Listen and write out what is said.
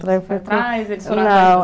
Você foi atrás, eles foram atrás?